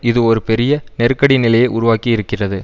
இது ஒரு பெரிய நெருக்கடி நிலையை உருவாக்கி இருக்கிறது